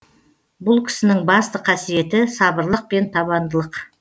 бұл кісінің басты қасиеті сабырлық пен табандылық